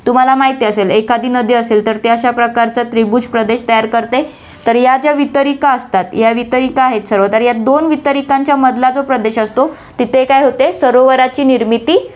तुम्हाला माहिती असेल एखादी नदी असेल, तर ती अश्याप्रकारचा त्रिभुज प्रदेश तयार करते, तर या ज्या वितरीका असतात, या वितरीका आहेत सर्व तर या दोन वितरिकांच्या मधला जो प्रदेश असतो, तिथे काय होते, सरोवराची निर्मिती होते.